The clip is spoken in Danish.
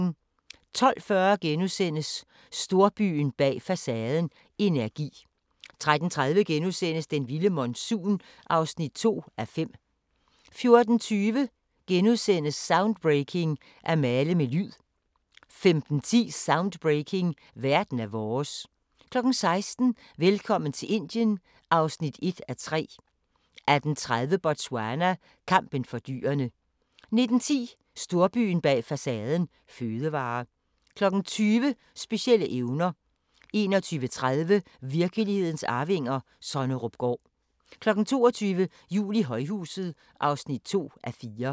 12:40: Storbyen bag facaden – energi * 13:30: Den vilde monsun (2:5)* 14:20: Soundbreaking – At male med lyd * 15:10: Soundbreaking – Verden er vores 16:00: Velkommen til Indien (1:3) 18:30: Botswana: Kampen for dyrene 19:10: Storbyen bag facaden – fødevarer 20:00: Specielle evner 21:30: Virkelighedens arvinger: Sonnerupgaard 22:00: Jul i højhuset (2:4)